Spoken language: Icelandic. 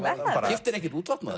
keyptirðu ekkert útvatnað